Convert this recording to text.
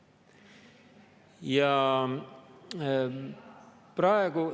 Ja praegu …